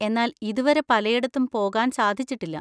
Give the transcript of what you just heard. എന്നാൽ ഇതുവരെ പലയിടത്തും പോകാൻ സാധിച്ചിട്ടില്ല.